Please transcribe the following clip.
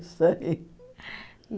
Isso aí.